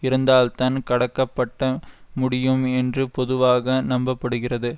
இருந்தால்தான் கடக்கப்பட்ட முடியும் என்று பொதுவாக நம்ப படுகிறது